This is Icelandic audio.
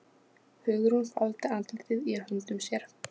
Hugrún faldi andlitið í höndum sér.